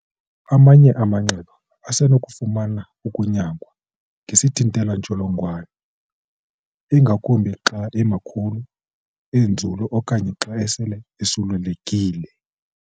Amanye amanxeba asenokufuna ukunyangwa ngesithinteli-ntsholongwane, ingakumbi xa emakhulu, enzulu okanye xa sele osulelekile.